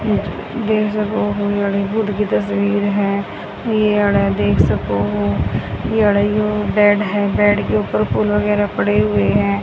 देख सको कोई बुद्ध की तस्वीर है ये देख सको ओ बेड है बेड के ऊपर फूल वगैरा पड़े हुए है।